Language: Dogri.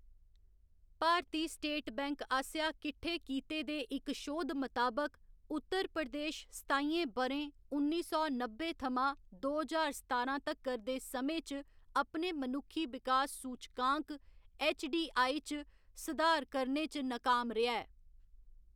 भारती स्टेट बैंक आसेआ किट्ठे कीते दे इक शोध मताबक, उत्तर प्रदेश सताइयें ब'रें, उन्नी सौ नब्बे थमां दो ज्हार सतारां तक्कर, दे समें च अपने मनुक्खी विकास सूचकांक ऐच्च.डी.आई. च सधार करने च नकाम रेहा ऐ।